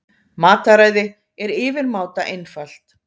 Mataræði er yfirmáta einfalt.